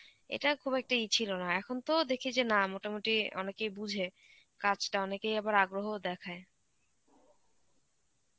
এটা খুব একটা ইয়ে ছিল না. এখন তো দেখি যে না মোটামুটি অনেকেই বুঝে, কাজটা অনেকেই আবার আগ্রহ দেখায়.